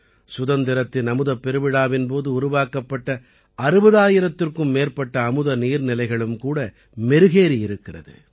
சுதந்திரத்தின் அமுதப் பெருவிழாவின் போது உருவாக்கப்பட்ட 60000த்திற்கும் மேற்பட்ட அமுத நீர்நிலைகளும் கூட மெருகேறியிருக்கிறது